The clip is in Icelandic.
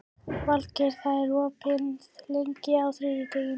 Valgeir, hvað er opið lengi á þriðjudaginn?